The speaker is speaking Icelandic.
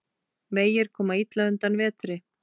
Vegir koma illa undan vetri.